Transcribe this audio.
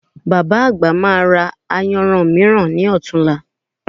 Bàbá àgbà máa ra ayanran mìíràn ní ọ̀tunla